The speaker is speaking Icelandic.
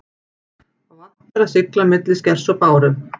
Vant er að sigla milli skers og báru.